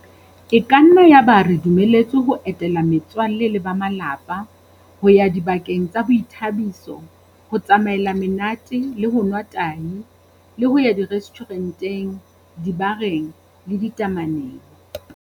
E ka nna ya ba re dumeletswe ho etela me tswalle le ba malapa, ho ya dibakeng tsa boithabiso, ho tsamaela monate le ho nwa tahi le ho ya direstjhure nteng, dibareng le ditame neng.